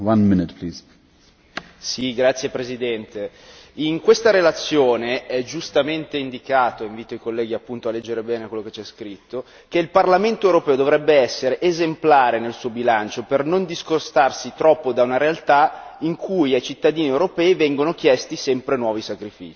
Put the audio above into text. Signor Presidente, onorevoli colleghi, in questa relazione è giustamente indicato invito i colleghi appunto a leggere bene quello che c'è scritto che il Parlamento europeo dovrebbe essere esemplare nel suo bilancio, per non discostarsi troppo da un realtà in cui ai cittadini europei vengono chiesti sempre nuovi sacrifici.